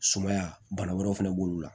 Sumaya bana wɛrɛw fana b'olu la